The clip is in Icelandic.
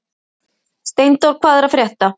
Steindór, hvað er að frétta?